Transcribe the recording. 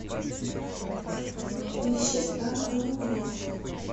поищи старый новый год